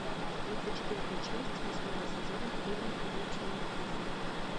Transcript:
тридцать четвертая часть восьмого сезона фильма ходячие мертвецы